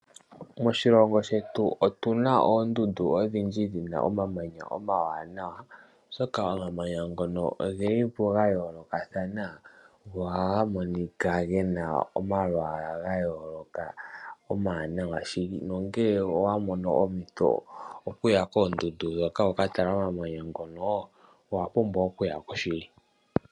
MOmawanawa ogelipo ga yoolokathana nongele owamono ompito ngono owapumbwa okuyako shili.